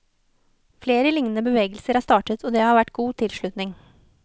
Flere lignende bevegelser er startet, og det har vært god tilslutning.